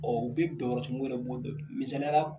u be dɔyɔrɔ misaliyala